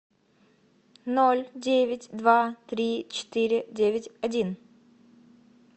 ноль девять два три четыре девять один